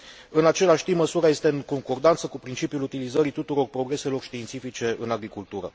În același timp, măsura este în concordanță cu principiul utilizării tuturor progreselor științifice în agricultură.